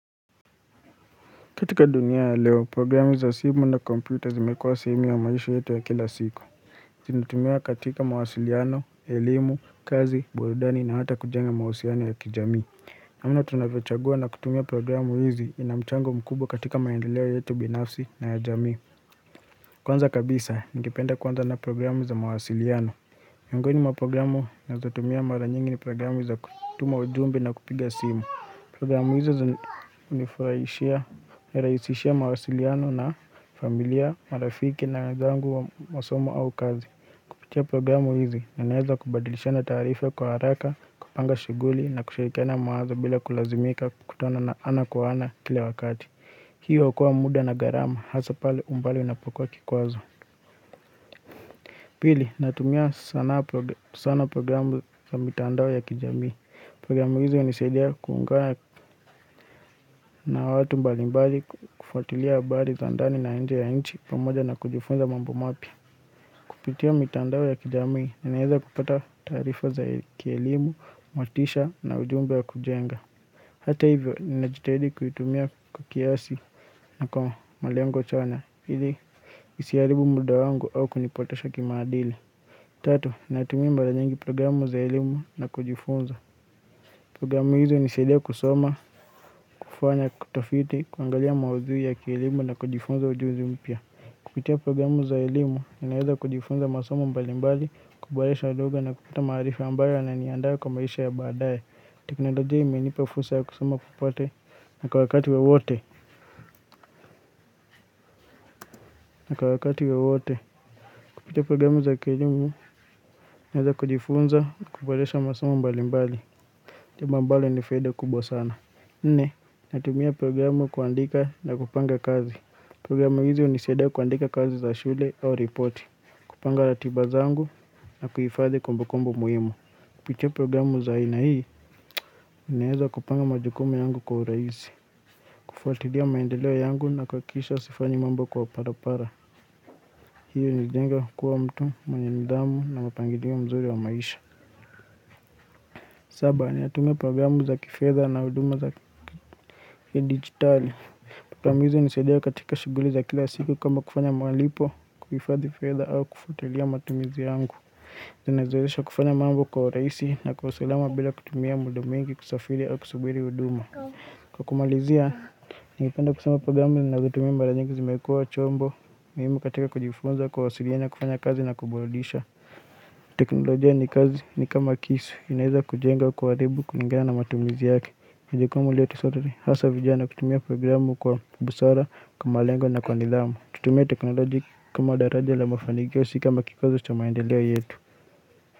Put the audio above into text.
Katika dunia ya leo, programu za simu na kompyuta zimekuwa sehemu ya maisha yetu ya kila siku. Zinatumika katika mawasiliano, elimu, kazi, burdani na hata kujenga mahusiano ya kijamii Naona tunavyochagua na kutumia programu hizi inamchango mkubwa katika maendeleo yetu binafsi na ya jamii Kwanza kabisa, ningependa kuanza na programu za mawasiliano Miongoni mwa programu ninazotumia mara nyingi ni programu za kutuma ujumbe na kupiga simu. Programu hizo hunifurahishia, nirahishishia mawasiliano na familia, marafiki na gangu wa masomo au kazi. Kupitia programu hizi, ninaweza kubadilishana taarifa kwa haraka, kupanga shighuli na kushirikiana mawazo bila kulazimika kukutana ana kwa ana kila wakati. Hiyo huokoa muda na gharama, hasa pale umbali unapokuwa kikwazo. Pili, natumia sana programu za mitandao ya kijamii. Programu hizo hunisaidia kuungana watu mbalimbali kufuatilia habari za ndani na nje ya nchi pamoja na kujifunza mamb mapya Kupitia mitandao ya kijamii ninaweza kupata taarifa za kielimu, motisha na ujumba ya kujenga. Hata hivyo ninajitahidi kuitumia kwa kiasi na kwa malengo chana ili isiharibu muda wangu au kunipotosha kimaadili. Tatu, ninatumia mara nyingi programu za elimu na kujifunza Programu hizo hunisaidia kusoma, kufanya utofiti, kuangalia maudhui ya kielimu na kujifunza ujuzi mpya. Kupitia programu za elimu, ninaweza kujifunza masoma mbalimbali, kuboresha lugha na kupata maarifa ambayo yananiandaa kwa maisha ya baadaye. Teknalojia imenipa fursa ya kusoma popote na kwa wakati wowote. Na kwa wakati wowote. Kupitia programu za kielimu, ninawezakujifunza, kuboresha masomo mbalimbali. Jambo ambalo lina faida kubwa sana. Nne, natumia programu kuandika na kupanga kazi. Programu hizi hunisaidia kuandika kazi za shule au reporti. Kupanga ratiba zangu na kuifadhi kumbukumbu muhimu. Kupitia programu za aina hii, ninaweza kupanga majukumu yangu kwa urahisi. Kufuatilia maendeleo yangu na kuhakikisha sifanyi mambo kwa barabara. Hiyo hunijenga kuwa mtu, mwanye nidhamu na mpangilio mzuri wa maisha. Saba, ninatumia programu za kifedha na huduma za kidigitali. Programu hizi hunisaidia katika shughuli za kila siku kama kufanya malipo, kuhifadhi fedha au kufuatilia matumizi yangu. Zinazoesha kufanya mambo kwa urahisi na kwa usulama bila kutumia muda mwingi kusafiri au kusubiri huduma. Kwa kumalizia, ningependa kusema programu ninavyotumia mara nyingi zimekuwa chombo. Muhimu katika kujifunza kuwasiliana kufanya kazi na kuburudisha. Teknolojia ni kama kisu inaweza kujenga kuharibu kulingana na matumizi yake ni jukumu letu soto hasa vijana kutumia programu kwa busara, kwa malengo na kwa nidhamu Tutumie teknolojia kama daraja la mafaniki si kama kikwazo cha maendeleo yetu.